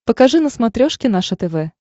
покажи на смотрешке наше тв